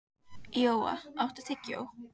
Jóa, áttu tyggjó?